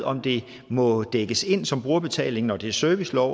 om det må dækkes ind som brugerbetaling når det er servicelov